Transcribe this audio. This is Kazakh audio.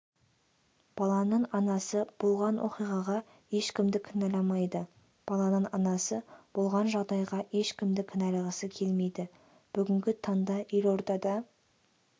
баланың анасы болған оқиғаға ешкімді кінәламайды баланың анасы болған жағдайға ешкімді кінәлағысы келмейді бүгінгі таңда елордада